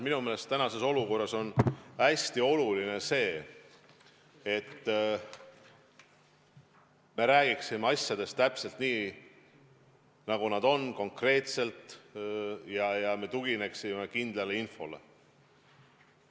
Minu meelest on tänases olukorras hästi oluline see, et me räägiksime asjadest täpselt nii, nagu nad on, konkreetselt, ja me tugineksime kindlale infole.